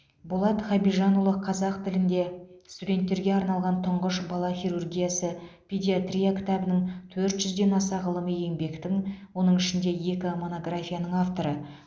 болат хабижанұлы қазақ тілінде студенттерге арналған тұңғыш бала хирургиясы педиатрия кітабінің төрт жүзден аса ғылыми еңбектің оның ішінде екі монографияның авторы